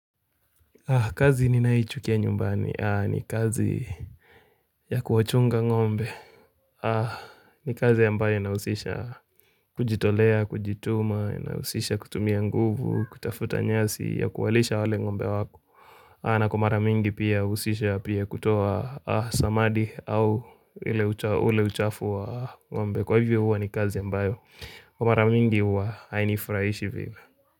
Kazi ninaoichukia nyumbani ni kazi ya kuwachunga ngombe. Ni kazi ambayo inahusisha kujitolea, kujituma, inahusisha kutumia nguvu, kutafuta nyasi ya kuwalisha wale ngombe wako. Na kwa mara mingi pia uhusisha pia kutoa samadi au ule uchafu wa ngombe. Kwa hivyo huwa ni kazi ambayo. Kwa mara mingi huwa hainifurahishi vile.